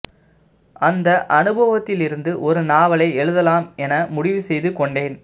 அந்த அனுபவத்திலிருந்து ஒரு நாவலை எழுதலாம் என முடிவு செய்து கொண்டேன்